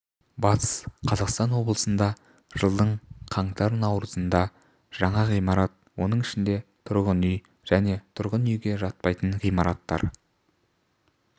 батыс қазақстан облысында жылдың қаңтар-наурызында жаңа ғимарат оның ішінде тұрғын үй және тұрғын үйге жатпайтын ғимараттар